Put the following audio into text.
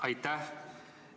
Aitäh!